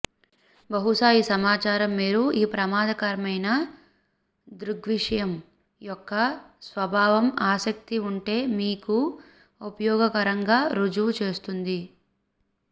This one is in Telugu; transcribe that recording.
బహుశా ఈ సమాచారం మీరు ఈ ప్రమాదకరమైన దృగ్విషయం యొక్క స్వభావం ఆసక్తి ఉంటే మీకు ఉపయోగకరంగా రుజువు చేస్తుంది